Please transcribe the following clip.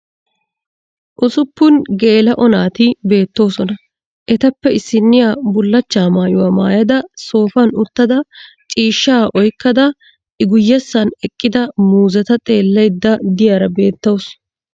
Usuppun geela'o naati beettoosona. Etappe issinniya bullachchaa maayuwa mayada soofan uttada ciishshaa oykkkada I guyessan eqqida muuzeta xeellayidda diyara beettawusu.